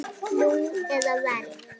Nú eða verr.